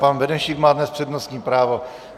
Pan Benešík má dnes přednostní právo.